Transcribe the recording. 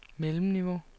mellemniveau